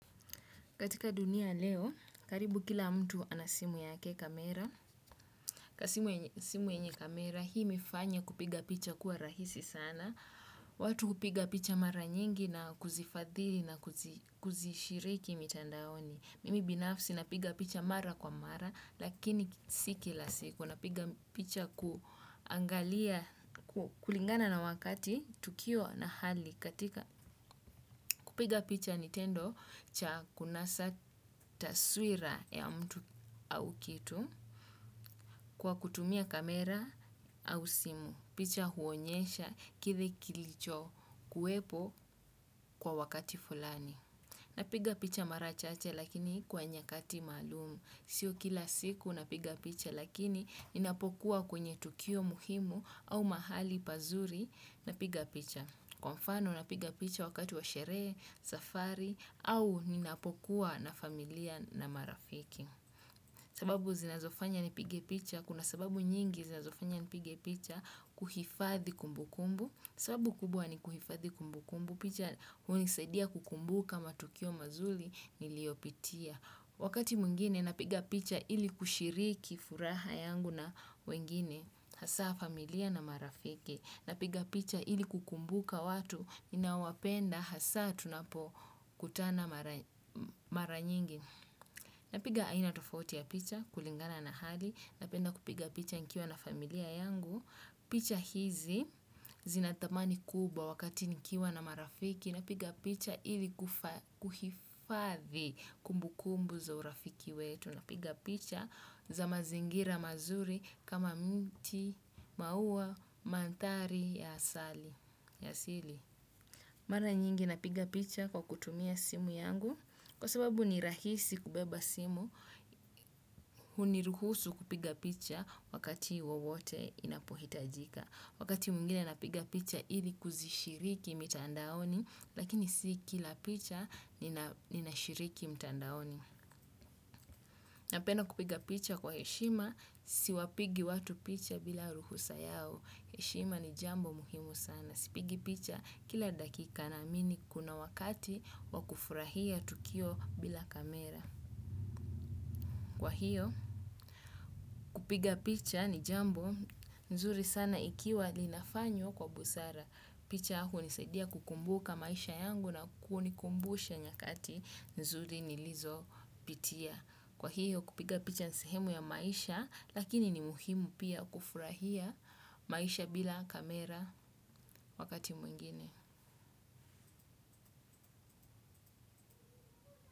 Katika dunia ya leo, karibu kila mtu ana simu yake ya kamera. Simu yenye kamera hii imefanya kupiga picha kuwe rahisi sana. Watu hupiga picha mara nyingi na kuzifadhili na kuzishiriki mitandaoni. Mimi binafsi napiga picha mara kwa mara lakini si kila siku. Napiga picha kuangalia, kulingana na wakati, tukio na hali. Katika kupiga picha ni tendo cha kunasa taswira ya mtu au kitu kwa kutumia kamera au simu. Picha huonyesha kile kilicho kuwepo kwa wakati fulani. Napiga picha mara chache lakini kwa nyakati maalum. Sio kila siku napiga picha lakini napokuwa kwenye tukio muhimu au mahali pazuri napiga picha. Kwa mfano, napiga picha wakati wa sherehe, safari, au ninapokuwa na familia na marafiki. Sababu zinazofanya nipige picha, kuna sababu nyingi zinazofanya nipige picha kuhifadhi kumbu kumbu. Sababu kubwa ni kuhifadhi kumbu kumbu, picha hunisadia kukumbuka matukio mazuri niliyopitia. Wakati mwingine, napiga picha ili kushiriki furaha yangu na wengine, hasa familia na marafiki. Napiga picha ili kukumbuka watu ninaowapenda hasa tunapo kutana maranyingi. Napiga aina tofauti ya picha kulingana na hali. Napenda kupiga picha nikiwa na familia yangu. Picha hizi zina thamani kubwa wakati nikiwa na marafiki. Napiga picha ili kuhifadhi kumbukumbu za urafiki wetu. Tunapiga picha za mazingira mazuri kama mti, maua, maandhari, ya asili. Mana nyingi napiga picha kwa kutumia simu yangu. Kwa sababu ni rahisi kubeba simu, huniruhusu kupiga picha wakati wowote inapohitajika. Wakati mwingine napiga picha hili kuzishiriki mitandaoni, lakini si kila picha nina shiriki mitandaoni. Napenda kupiga picha kwa heshima, siwapigi watu picha bila ruhusa yao. Hishima ni jambo muhimu sana. Sipigi picha kila dakika naamini kuna wakati wa kufurahia tukio bila kamera. Kwa hiyo kupiga picha ni jambo nzuri sana ikiwa linafanywa kwa busara. Picha hunisaidia kukumbuka maisha yangu na kunikumbusha nyakati nzuri nilizo pitia. Kwa hiyo kupiga picha ni sehemu ya maisha lakini ni muhimu pia kufurahia maisha bila kamera wakati mwingine.